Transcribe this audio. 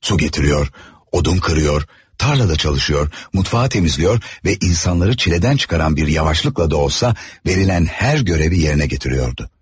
Su getiriyor, odun kırıyor, tarlada çalışıyor, mutfağı temizliyor ve insanları çileden çıkaran bir yavaşlıkla da olsa verilen her görevi yerine getiriyordu.